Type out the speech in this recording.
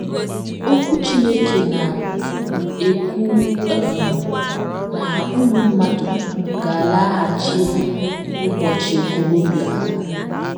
Okwu Chineke na - ekwu um na ụmụ mmadụ ga - alaghachiru ‘ ụbọchị okorobịa ha ’